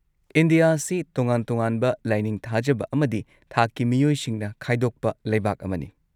India ꯑꯁꯤ ꯇꯣꯉꯥꯟ-ꯇꯣꯉꯥꯟꯕ ꯂꯥꯢꯅꯤꯡ ꯊꯥꯖꯕ ꯑꯃꯗꯤ ꯊꯥꯛꯀꯤ ꯃꯤꯑꯣꯏꯁꯤꯡꯅ ꯈꯥꯏꯗꯣꯛꯄ ꯂꯩꯕꯥꯛ ꯑꯃꯅꯤ꯫